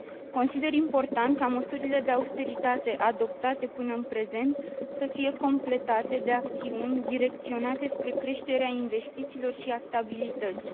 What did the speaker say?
Consider important ca măsurile de austeritate adoptate până în prezent să fie completate de acțiuni direcționate spre creșterea investițiilor și a stabilității.